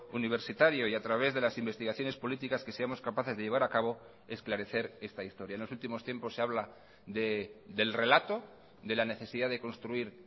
universitario y a través de las investigaciones políticas que seamos capaces de llevar a cabo esclarecer esta historia en los últimos tiempos se habla del relato de la necesidad de construir